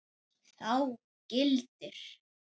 Þá gildir